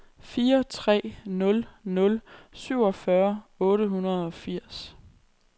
fire tre nul nul syvogfyrre otte hundrede og firs